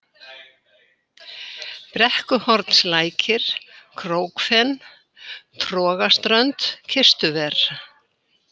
Brekkuhornslækir, Krókfen, Trogaströnd, Kistuver